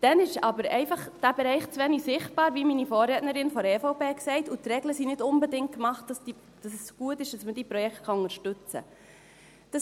Dann ist dieser Bereich aber einfach zu wenig sicher, wie meine Vorrednerin von der EVP sagte, und die Regeln sind nicht unbedingt dafür gemacht, dass es gut ist, dass man diese Projekte unterstützen kann.